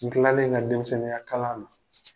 N kilalen n ka denmisɛnninyakalan na